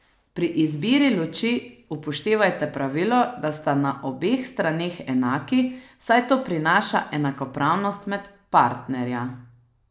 Pri izbiri luči upoštevajte pravilo, da sta na obeh straneh enaki, saj to prinaša enakopravnost med partnerja.